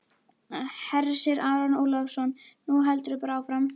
Hersir Aron Ólafsson: Nú heldurðu bara áfram?